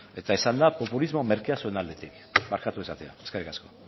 eta izan da populismo merkea zuen aldetik barkatu esatea eskerrik asko